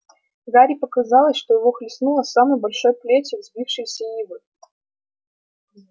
гарри показалось что его хлестнуло самой большой плетью взбившейся ивы